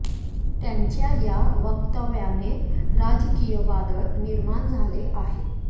त्यांच्या या वक्तव्याने राजकीय वादळ निर्माण झाले आहे